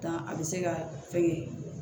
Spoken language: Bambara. Dan a bɛ se ka fɛngɛ